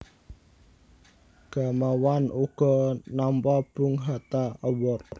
Gamawan uga nampa Bung Hatta Award